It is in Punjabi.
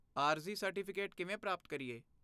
ਆਰਜ਼ੀ ਸਰਟੀਫਿਕੇਟ ਕਿਵੇਂ ਪ੍ਰਾਪਤ ਕਰੀਏ?